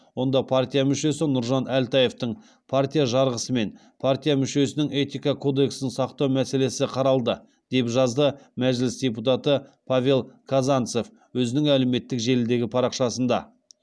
онда партия мүшесі нұржан әлтаевтың партия жарғысы мен партия мүшесінің этика кодексін сақтауы мәселесі қаралды деп жазды мәжіліс депутаты павел казанцев өзінің әлеуметтік желідегі парақшасында